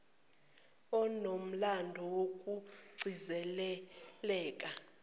onomlando woku cindezeleka